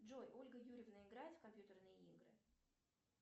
джой ольга юрьевна играет в компьютерные игры